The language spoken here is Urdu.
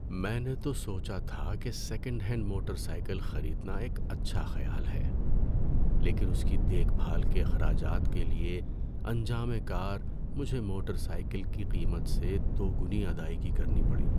میں نے تو سوچا تھا کہ سیکنڈ ہینڈ موٹر سائیکل خریدنا ایک اچھا خیال ہے، لیکن اس کی دیکھ بھال کے اخراجات کے لیے انجام کار مجھے موٹر سائیکل کی قیمت سے دوگنی ادائیگی کرنی پڑی۔